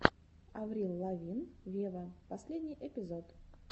аврил лавин вево последний эпизод